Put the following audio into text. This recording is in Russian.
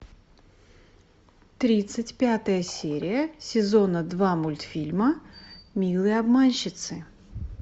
тридцать пятая серия сезона два мультфильма милые обманщицы